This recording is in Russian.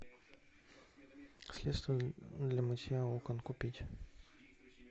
средство для мытья окон купить